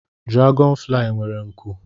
Diragọn fulayi nwere nku